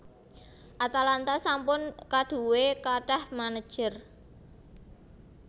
Atalanta sampun kadhuwe kathah manajer